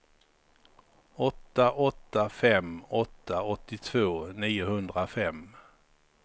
åtta åtta fem åtta åttiotvå niohundrafem